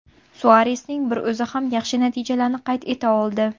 Suaresning bir o‘zi ham yaxshi natijalarni qayd eta oldi.